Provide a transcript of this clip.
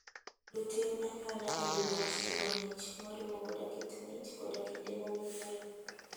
Luw tim anyuola e wi wach chiwo mich, moriwo koda kit mich koda kinde mowinjore.